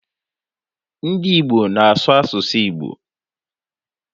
Ndị Igbo na-asụ asụsụ Igbo.